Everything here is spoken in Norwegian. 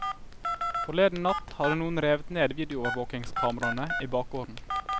Forleden natt hadde noen revet ned videoovervåkingskameraene i bakgården.